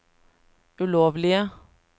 ulovlige